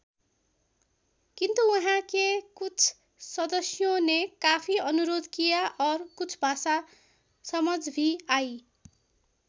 किन्तु वहाँ के कुछ सदश्यों ने काफी अनुरोध किया और कुछ भाषा समझ भी आयी।